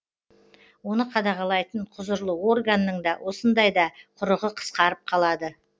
оны қадағалайтын құзырлы органның да осындайда құрығы қысқарып қалады